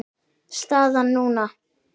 Staðan núna?